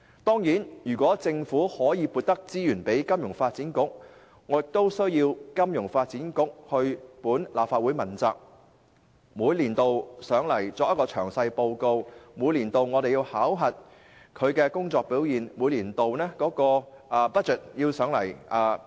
當然，如果政府向金發局增撥資源，我會要求金發局向立法會問責，每年向立法會進行詳細匯報和接受我們考核其工作表現，以及提交年度預算予立法會批核。